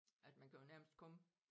At man kan jo nærmest komme